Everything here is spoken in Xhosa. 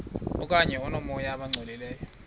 okanye oomoya abangcolileyo